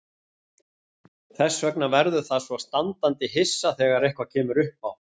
Þess vegna verður það svo standandi hissa þegar eitthvað kemur uppá.